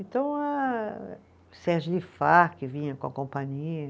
Então eh, Sérgio Lifar, que vinha com a companhia.